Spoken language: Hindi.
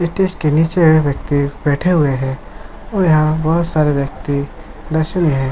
स्टेज के नीचे हैं व्यक्ति बैठे हुए है और यहां बोहत सारे व्यक्ति नशे में है।